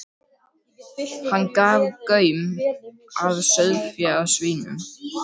Hann gaf gaum að sauðfé, að svínum.